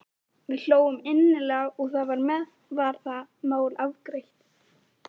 Við hlógum innilega og þar með var það mál afgreitt.